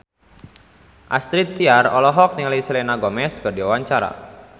Astrid Tiar olohok ningali Selena Gomez keur diwawancara